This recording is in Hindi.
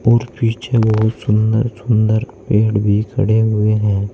और पीछे बहुत सुंदर सुंदर पेड़ भी खड़े हुए हैं।